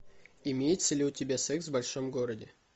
имеется ли у тебя секс в большом городе